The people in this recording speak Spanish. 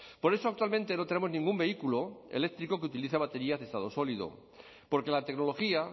por eso actualmente no tenemos ningún vehículo eléctrico que utilice baterías de estado sólido porque la tecnología